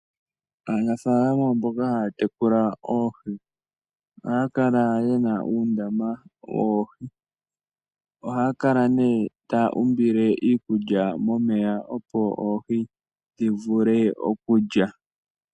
Aanafalama mboka haya tekula oohi, oha ya kala ye na uundama woohi, oha ya kala nee ta ya umbile iikulya momeya opo oohi dhi vule okulya.